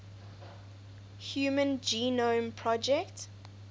human genome project